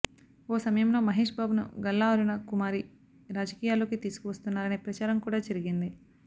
ఓ సమయంలో మహేష్ బాబును గల్లా అరుణ కుమారి రాజకీయాల్లోకి తీసుకు వస్తున్నారనే ప్రచారం కూడా జరిగింది